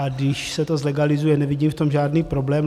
A když se to zlegalizuje, nevidím v tom žádný problém.